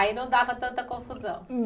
Aí não dava tanta confusão.